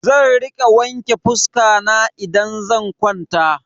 Zan rika wanke fuska na idan zan kwanta.